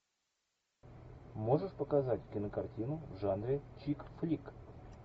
можешь показать кинокартину в жанре чик флик